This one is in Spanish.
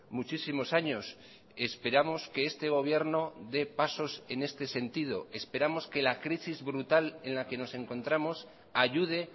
muchísimos años esperamos que este gobierno dé pasos en este sentido esperamos que la crisis brutal en la que nos encontramos ayude